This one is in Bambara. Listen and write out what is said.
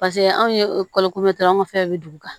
Paseke anw ye kalo anw ka fɛnw bɛ dugu kan